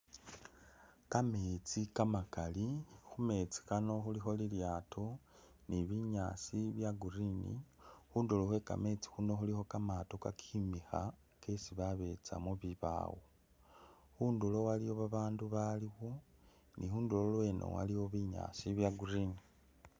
Kameetsi kamakali khumeetsi kano khulikho lilyaato ni binyaasi bya green khundulo khwe kameetsi khuno khulikho kamaato kakimikha kesi babesa mubibawo khundulo khulikho babandu balikho ni khunduro lweno waliwo binyasi bya green.